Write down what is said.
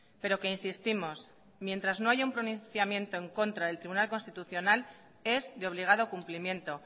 pero que insistimos mientras no haya un pronunciamiento en contra del tribunal constitucional es de obligado cumplimiento